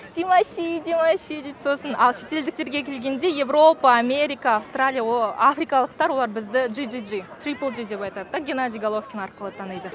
димаши димаши дейді сосын ал шетелдіктерге келгенде европа америка австралия африкалықтар олар біздің джи джи джи трипл джи деп атайды да генади головкин арқылы таниды